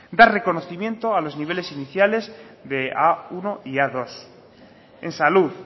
dar reconocimiento a los niveles iniciales de a uno y a dos en salud